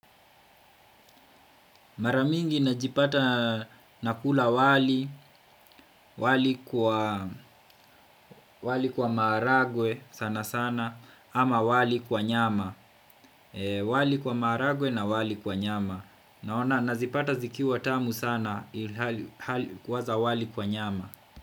Mara mingi najipata nakula wali, wali kwa maharagwe sana sana ama wali kwa nyama wali kwa maharagwe na wali kwa nyama naona nazipata zikiwa tamu sana kuwaza wali kwa nyama.